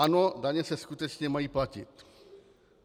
Ano, daně se skutečně mají platit.